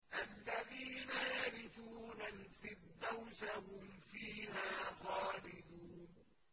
الَّذِينَ يَرِثُونَ الْفِرْدَوْسَ هُمْ فِيهَا خَالِدُونَ